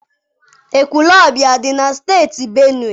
Ekwulobia adị na Steeti Benue?